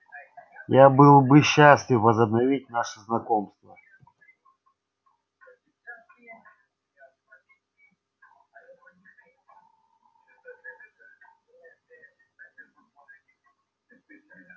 я был бы счастлив возобновить наше знакомство